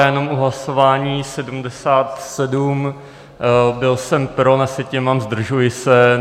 Já jenom u hlasování 77, byl jsem pro, na sjetině mám "zdržuji se".